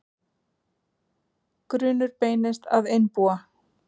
Grunur beinist að einbúa